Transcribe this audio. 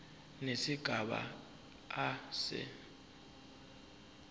nesigaba a se